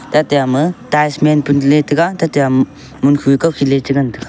tate ama tiles menpun chele taiga tate um munkhu kawkhiley chengan taiga.